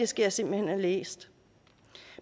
skal jeg simpelt hen have læst